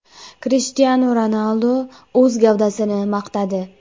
Krishtianu Ronaldu o‘z gavdasini maqtadi .